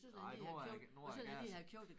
Ej nu er nu er det Gaza